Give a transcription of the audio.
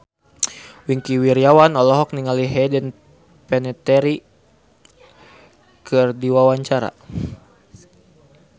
Wingky Wiryawan olohok ningali Hayden Panettiere keur diwawancara